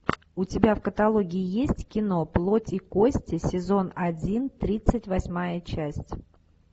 у тебя в каталоге есть кино плоть и кости сезон один тридцать восьмая часть